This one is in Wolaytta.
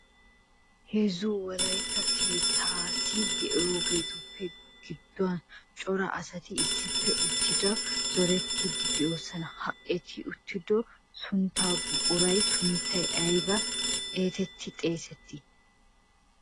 Heezzu wolaytta keettati de'iyaagetuppe gidduwan cora asati issippe uttido zoretidi de'oosona. Ha eti uttidooga sunttay buquraa sunttay aybba hetetri xeesseti?